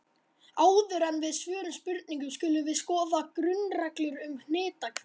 Áður en við svörum spurningunni skulum við skoða grunnreglur um hnitakerfi.